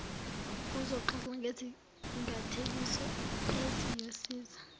uzoxoxa ngezingathekiso eziyosiza